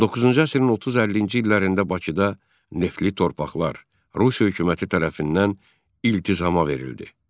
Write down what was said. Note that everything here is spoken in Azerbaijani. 19-cu əsrin 30-50-ci illərində Bakıda neftli torpaqlar Rusiya hökuməti tərəfindən iltizama verildi.